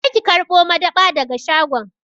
Je ki karɓo madab'a daga shagon!